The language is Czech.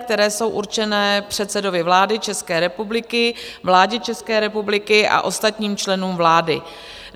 které jsou určené předsedovi vlády České republiky, vládě České republiky a ostatním členům vlády.